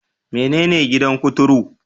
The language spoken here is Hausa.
Menene gidan kuturu?